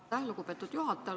Aitäh, lugupeetud juhataja!